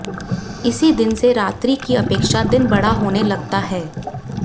इसी दिन से रात्रि की अपेक्षा दिन बड़ा होने लगता है